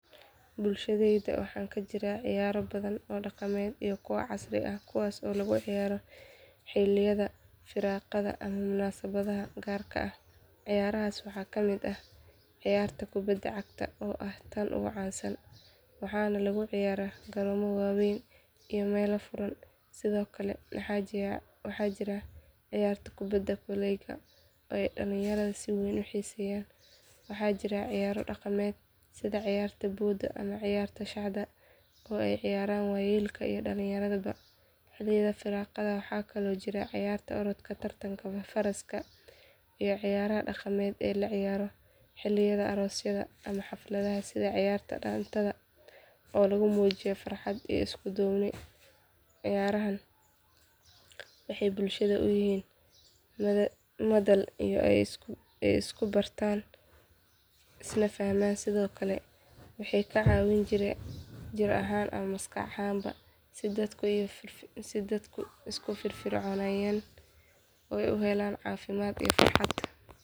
Bulshadeyda waxaa kajiraa ciyaaro badan oo daqameed iyo kuwa casri ah, kuwaas oo lagu ciyaaro xiliyada firiqaha ama munasabaha gaarka ah, ciyaraha ciyaarta kubada cagta oo ah tan ugu caan san waxaana lagu ciyaara meela furan, sido kale waxaa jira ciyaarta kubada koleyga ooy dalinyarada si weyn uxiiseyan, waxaa jiraa ciyaaro daqameed sida ciyaarta booda ama ciyaarta shada oo aay ciyaran wayeelka iyo dakinyaradaba xiliyada firaaqada waxaa kale oo jira ciyaarta orodka tartanka faraska iyo ciyaraha daqanka ee la ciyaaro xiliyada aroosyada ama xafkadaha sida ciyaarta daantada oo lagu muujiyo farxad iyo isku duubni, ciyaarahan waxeey bulshada uyihiin oo isku bartaan iskuna fahmaan sido kale waxeey ka cawin jireen jir ahaan ama maskax ahaanba, si dadku isku firfircooniga oo uhelaan cafimaad iyi farxad.